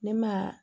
Ne ma